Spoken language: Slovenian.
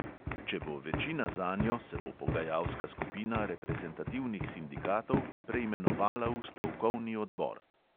Če bo večina zanjo, se bo pogajalska skupina reprezentativnih sindikatov preimenovala v stavkovni odbor.